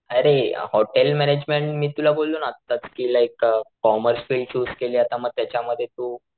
अरे hotel management मी तुला बोललो ना आत्ताच कि like a commerce field choose केली आता मग त्याच्या मध्ये तू,